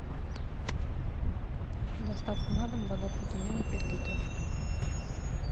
доставка на дом вода фрутоняня пять литров